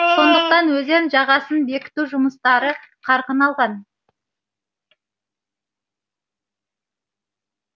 сондықтан өзен жағасын бекіту жұмыстары қарқын алған